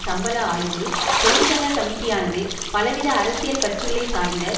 சம்பள ஆய்வு தொழிற்சங்க கமிட்டியானது பலவித அரசியல் கட்சிகளை சார்ந்த